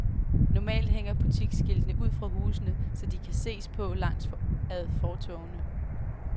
Normalt hænger butiksskiltene ud fra husene, så de kan ses på langs ad fortovene.